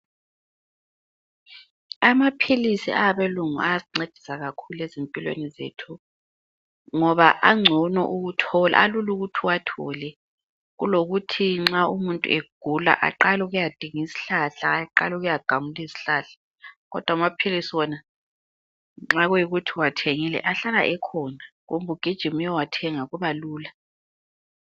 Amaphilisi awabelungu ayasincedisa kakhulu ezimpilweni zethu ngoba angcono ukuthola ,alula ukuthi uwathole. Kulokuthi nxa umuntu egula aqale ukuyadinga izihlahla, aqale ukuyagamula izihlahla. Kodwa amaphilisi wona nxa kuyikuthi uwathengile ahlala ekhona kumbe ugijime uyewathenga kuba lula .